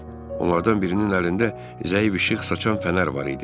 Onlardan birinin əlində zəif işıq saçan fənər var idi.